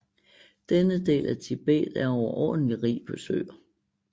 Denne del af Tibet er overordentlig rig på søer